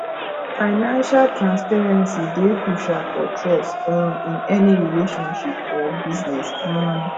financial transparency dey crucial for trust um in any relationship or business um